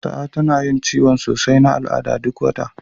Sa'a tana yin ciwon sosai na al'ada duk wata.